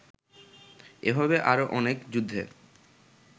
এভাবে আরও অনেক যুদ্ধে